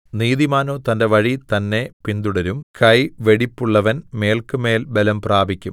നീതിമാനോ തന്റെ വഴി തന്നെ പിന്തുടരും കൈവെടിപ്പുള്ളവൻ മേല്ക്കുമേൽ ബലം പ്രാപിക്കും